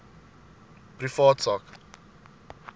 privaat sak